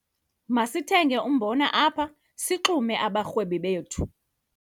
Masithenge umbona apha sixume abarhwebi bethu.